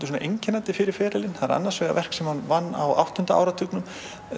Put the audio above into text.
einkennandi fyrir ferilinn annars vegar verk sem hann vann á áttunda áratugnum